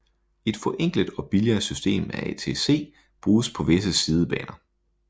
Et forenklet og billigere system af ATC bruges på visse sidebaner